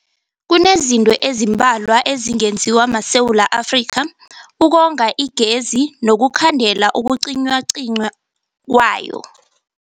Kunezinto ezimbalwa ezingenziwa maSewula Afrika ukonga igezi nokukhandela ukucinywacinywa kwayo.